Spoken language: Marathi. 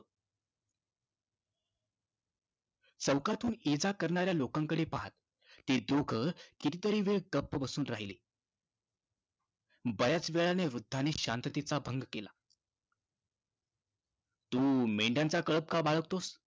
चौकातून ये-जा करणाऱ्या लोकांकडे पहात, ते दोघ कितीतरी वेळ गप्प बसून राहिले. बऱ्याच वेळानं वृद्धानं शांततेचा भंग केला, तू मेंढ्यांचा कळप का बाळगतोस?